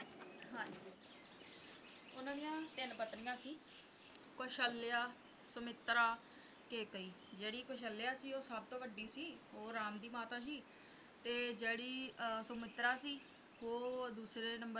ਹਾਂ ਜੀ ਉਨ੍ਹਾਂ ਦੀਆਂ ਤਿੰਨ ਪਤਨੀਆਂ ਸੀ ਕੌਸ਼ਲਿਆ ਸੁਮਿਤਰਾ ਕੇਕਈ ਜਿਹੜੀ ਕੌਸ਼ਲਿਆ ਸੀ ਉਹ ਸਭ ਤੋਂ ਵੱਢੀ ਸੀ ਉਹ ਰਾਮ ਦੀ ਮਾਤਾ ਸੀ ਤੇ ਜਿਹੜੀ ਸੁਮਿਤਰਾ ਸੀ ਉਹ ਦੂਸਰੇ ਨੰਬਰ